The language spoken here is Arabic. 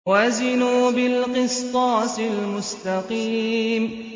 وَزِنُوا بِالْقِسْطَاسِ الْمُسْتَقِيمِ